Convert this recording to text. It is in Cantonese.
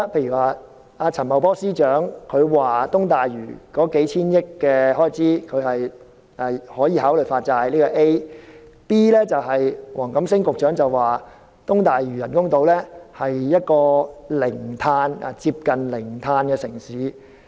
局長，陳茂波司長說東大嶼的數千億元開支可以考慮發債，這是 A；B 則是黃錦星局長說東大嶼人工島是一個接近零碳排放的城市。